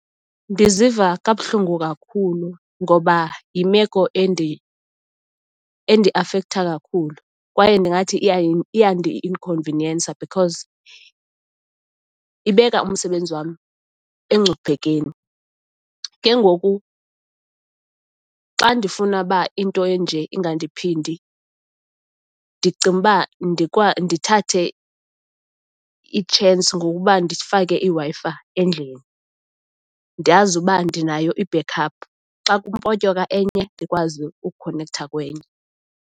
Ndiziva kabuhlungu kakhulu ngoba yimeko endiafektha kakhulu kwaye ndingathi iyandi-inkhonviniyensa because ibeka umsebenzi wam engcuphekweni. Ke ngoku xa ndifuna uba into enje ingandiphindi ndicinga uba ndithathe i-chance ngokuba ndifake iWi-Fi endlini, ndiyazi uba ndinayo i-backup xa kupotyeka enye, ndikwazi ukukhonektha kwenye.